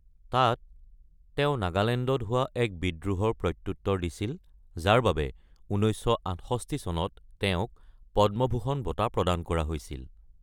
তাত তেওঁ নাগালেণ্ডত হোৱা এক বিদ্ৰোহৰ প্ৰত্যুত্তৰ দিছিল যাৰ বাবে ১৯৬৮ চনত তেওঁক পদ্মভূষণ বঁটা প্ৰদান কৰা হৈছিল।